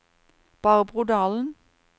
Barbro Dahlen